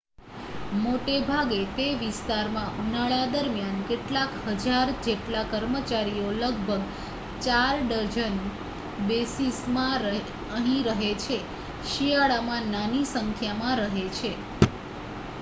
મોટેભાગે તે વિસ્તારમાં ઉનાળા દરમ્યાન કેટલાક હજાર જેટલા કર્મચારીઓ લગભગ 4 ડઝન બેઝીસ માં અહીં રહે છે શિયાળામાં નાની સંખ્યામાં રહે છે